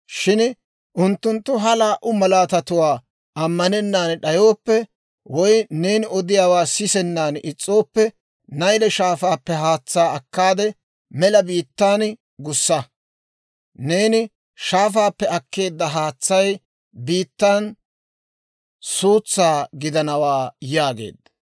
Shin unttunttu ha laa"u malaatatuwaa ammanennan d'ayooppe, woy neeni odiyaawaa sisennan is's'ooppe, Nayle Shaafaappe haatsaa akkaade, mela biittan gussa; neeni shaafaappe akkeedda haatsay biittan suutsaa gidanawaa» yaageedda.